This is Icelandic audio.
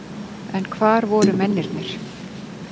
En hvar voru mennirnir?